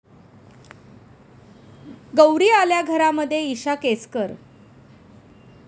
गौरी आल्या घरा'मध्ये इशा केसकर